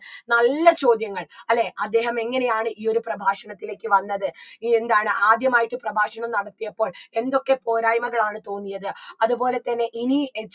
നല്ല ചോദ്യങ്ങൾ അല്ലെ അദ്ദേഹം എങ്ങനെയാണ് ഈ ഒരു പ്രഭാഷണത്തിലേക്ക് വന്നത് എന്താണ് ആദ്യമായിട്ട് പ്രഭാഷണം നടത്തിയപ്പോൾ എന്തൊക്കെ പോരായ്മകളാണ് തോന്നിയത് അത്പോലെ തന്നെ ഇനി ഏർ